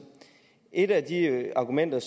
et af de argumenter